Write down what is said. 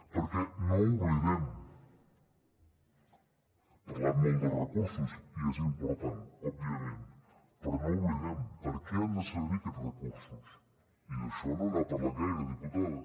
perquè no ho oblidem hem parlat molt de recursos i és important òbviament per a què han de servir aquests recursos i d’això no n’ha parlat gaire diputada